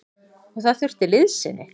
Og það þurfti liðsinni.